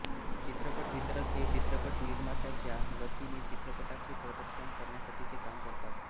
चित्रपट वितरक हे चित्रपट निर्मात्याच्या वतीने चित्रपटाचे प्रदर्शन करण्यासाठीचे काम करतात